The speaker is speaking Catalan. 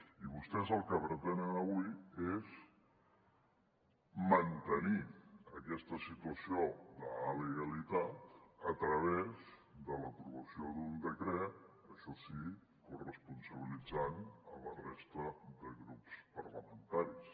i vostès el que pretenen avui és mantenir aquesta situació d’alegalitat a través de l’aprovació d’un decret això sí corresponsabilitzant ne la resta de grups parlamentaris